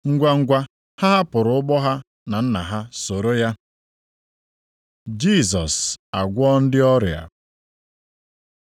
ngwangwa ha hapụrụ ụgbọ ha na nna ha soro ya. Jisọs agwọọ ndị ọrịa